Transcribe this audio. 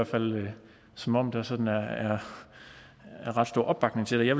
fald som om der sådan er er ret stor opbakning til det jeg